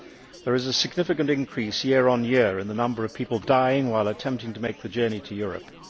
There is a significant increase, year on year, in the number of people dying while attempting to make the journey to Europe.